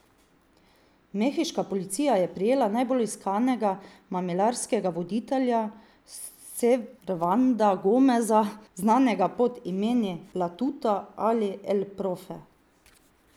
Mehiška policija je prijela najbolj iskanega mamilarskega voditelja Servanda Gomeza, znanega pod imeni La Tuta ali El Profe.